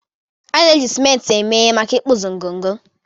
a na-eji simenti eme ihe maka ịkpụzi ngọngọ